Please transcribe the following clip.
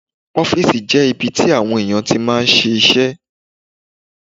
Ọ́fìsì jẹ́ ibi tí àwọn èèyàn tí máa ń ṣe iṣẹ́